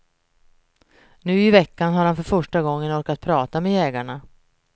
Nu i veckan har han för första gången orkat prata med jägarna.